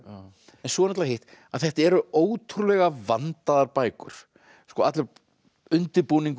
svo er það hitt að þetta eru ótrúlega vandaðar bækur allur undirbúningur